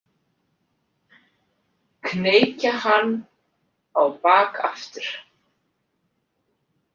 Kneikja hann á bak aftur.